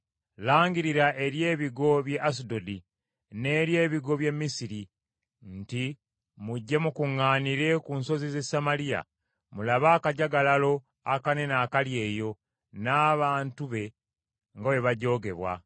Langirira eri ebigo by’e Asudodi n’eri ebigo by’e Misiri nti, “Mujje mukuŋŋaanire ku nsozi z’e Samaliya mulabe akajagalalo akanene akali eyo n’abantu be nga bwe bajoogebwa.”